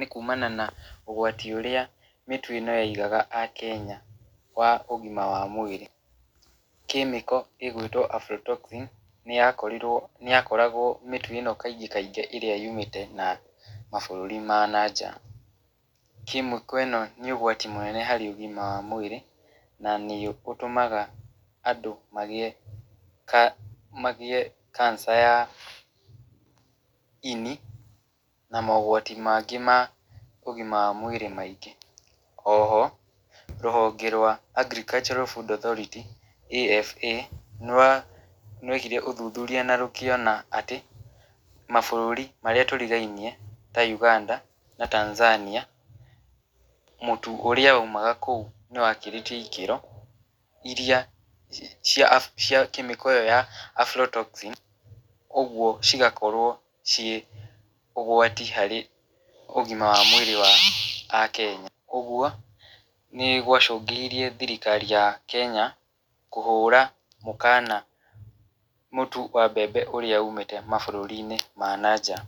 nĩ kumana na ũgwati ũrĩa mĩtu ĩno yaigaga akenya wa ũgima wa mwĩrĩ. chemical ĩgwĩtwo aflotoxin nĩyakorirwo nĩyakoragwo mĩtu ĩno ĩrĩa kaingĩ yumĩte na mabũrũri ma na nja, chemical ĩno nĩ ũgwati mũno harĩ ũgima wa mwĩrĩ, na nĩ ũtũmaga andũ magĩe cancer[cs ya ini , na mogwati mangĩ ma ũgima wa mwĩrĩ maingĩ, oho rũhonge rwa [cs[Agriculture Food Authority AFA, nĩwekire ũthuthuria na rũkĩona atĩ, mabũrũri marĩa tũrigainie ta Uganda na Tanzania , mũtu ũrĩa waumaga kũu nĩ wakĩrĩtie ikĩro iria cia chemical ĩyo ya aflotoxin, kũgwo cigakorwo ciĩ ũgwati harĩ ũgima wa mwĩrĩ wa akenya, ũgwo nĩgwacũngĩrĩirie thirikari ya kenya kũhũra mũkana, mũtu wa mbembe ũrĩa ũmĩte mabũrũri-inĩ ma na nja.